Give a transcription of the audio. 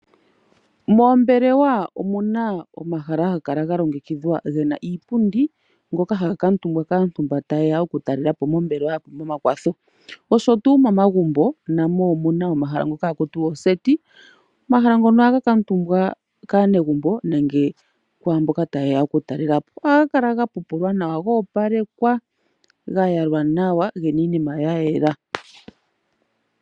Moombelewa ohamu kala omahala ga longekidhwa ngoka gena iipundi ngoka haga kuutumbwa kaantu mboka ta yeya mombelewa ya pumbwa ekwatho. Momagumbo namo omuna omahala ngoka ha kutiwa oseti. Omahala ngoka ohaga kuutumbwa kaanegumbo nenge mboka ta yeya okutalelapo. Ohagu kala ga pupulwa nawa gena iinima ya yela nawa.